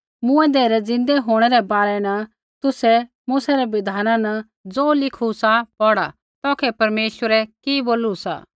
मूँऐंदै रै ज़िन्दै होंणै रै बारै न तुसै मूसै रै बिधाना न ज़ो लिखू सा पौढ़ा तौखै परमेश्वरै कि बोलू सा